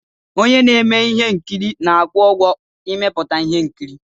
Onye na-eme ihe nkiri na-akwụ ụgwọ ịmepụta ihe nkiri.